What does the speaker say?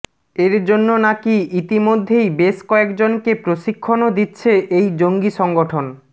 এরজন্য নাকী ইতিমধ্যেই বেশ কয়েকজনকে প্রশিক্ষণও দিচ্ছে এই জঙ্গি সংগঠন